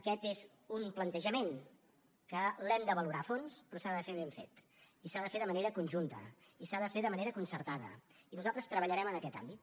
aquest és un plantejament que l’hem de valorar a fons però s’ha de fer ben fet i s’ha de fer de manera conjunta i s’ha de fer de manera concertada i nosaltres treballarem en aquest àmbit